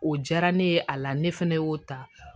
O diyara ne ye a la ne fɛnɛ y'o ta